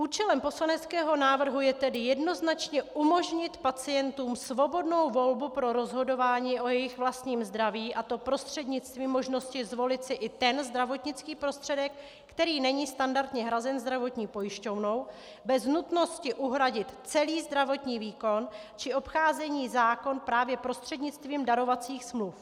Účelem poslaneckého návrhu je tedy jednoznačně umožnit pacientům svobodnou volbu pro rozhodování o jejich vlastním zdraví, a to prostřednictvím možnosti zvolit si i ten zdravotnický prostředek, který není standardně hrazen zdravotní pojišťovnou, bez nutnost uhradit celý zdravotní výkon či obcházení zákona právě prostřednictvím darovacích smluv.